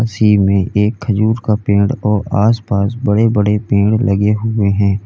उसी में एक खजूर का पेड़ और आसपास बड़े बड़े पेड़ लगे हुए हैं।